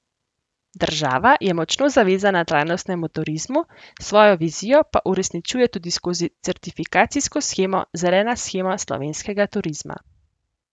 Država je močno zavezana trajnostnemu turizmu, svojo vizijo pa uresničuje tudi skozi certifikacijsko shemo Zelena shema slovenskega turizma.